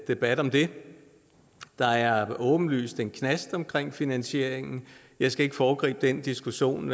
debat om den der er åbenlyst en knast omkring finansieringen jeg skal ikke foregribe den diskussion